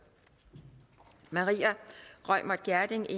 maria reumert gjerding